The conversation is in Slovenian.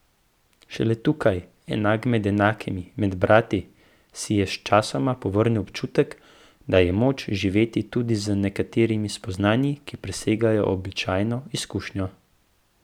Šele tukaj, enak med enakimi, med brati, si je sčasoma povrnil občutek, da je moč živeti tudi z nekaterimi spoznanji, ki presegajo običajno izkušnjo.